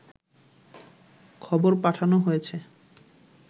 খবর পাঠানো হয়েছে